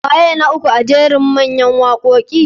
Waye mai waka uku a jera a mayan wakoki goma?